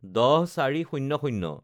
১০/০৪/০০